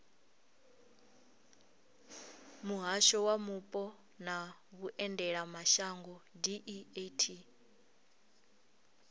muhasho wa mupo na vhuendelamashango deat